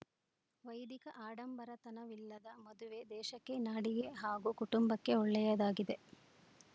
ವೈದಿಕ ಆಡಂಬರತನವಿಲ್ಲದ ಮದುವೆ ದೇಶಕ್ಕೆ ನಾಡಿಗೆ ಹಾಗೂ ಕುಟುಂಬಕ್ಕೆ ಒಳ್ಳೆಯದಾಗಿದೆ